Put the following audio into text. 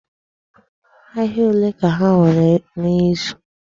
Ahịa olee ka ha nwere n'izu?